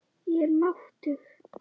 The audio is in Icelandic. Ég er máttug.